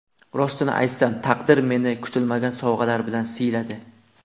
Rostini aytsam, taqdir meni kutilmagan sovg‘alar bilan siyladi.